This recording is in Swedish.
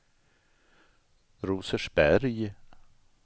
Rosersberg